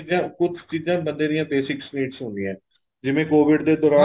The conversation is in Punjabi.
ਕੁੱਝ ਚੀਜ਼ਾਂ ਬੰਦੇ ਦੀਆ basic needs ਹੁੰਦੀਆ ਏ ਜਿਵੇਂ COVID ਦੇ ਦੋਰਾਨ